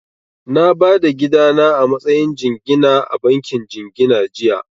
Na ba da gida na a matsayin jingina a bankin jingina jiya